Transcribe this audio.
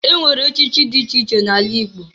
Enwere echichi dị iche iche na-ala Igbo.